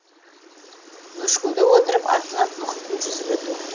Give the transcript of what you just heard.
бөшкеде отырып атлант мұхитын жүзіп өту